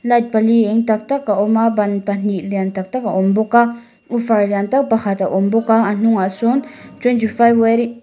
light pali eng tak tak a awm a ban pahnih lian taktak a awm bawk a woofer lian tak pakhat a awm bawk a a hnungah sawn twenty five --